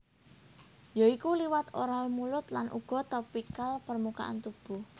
Yoiku liwat oral mulut lan uga topikal permukaan tubuh